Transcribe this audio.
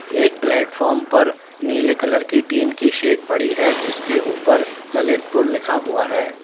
एक प्लेटफार्म पर नीले कलर की टीन की सेट पड़ी है जिसके ऊपर ललितपुर लिखा हुआ है।